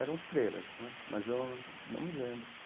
Eram freiras né, mas eu não me lembro.